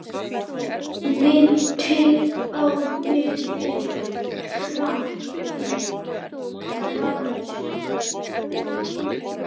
Minnti á miðil í trans.